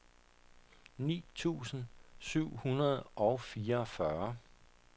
ni tusind syv hundrede og fireogfyrre